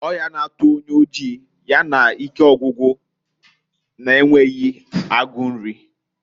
Oyi na-atụ onye oji, ya na ike ọgwụgwụ na-enweghi agu nri.